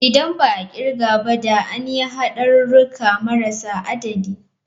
Idan ba a kirga ba da an yi hadurruka marasa adadi.